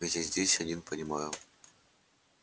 ведь я здесь один понимаю